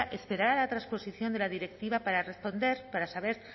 esperar a la trasposición de la directiva para responder para saber